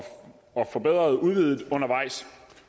forbedret og udvidet undervejs